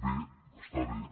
bé està bé